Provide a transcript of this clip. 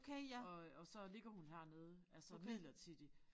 Og øh og så ligger hun hernede altså midlertidigt